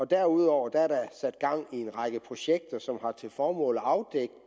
derudover er der sat gang i en række projekter som har til formål at afdække